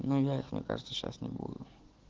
ну бля мне кажется сейчас не будет